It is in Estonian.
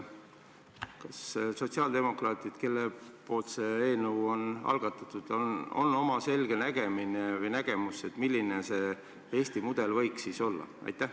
Kas sotsiaaldemokraatidel, kes selle eelnõu on algatanud, on oma selge nägemus, milline see Eesti mudel võiks olla?